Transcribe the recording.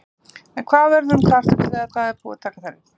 En hvað verður um kartöflurnar þegar það er búið að taka þær upp?